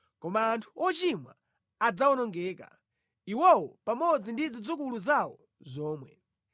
Koma anthu ochimwa adzawonongeka; iwowo pamodzi ndi zidzukulu zawo zomwe.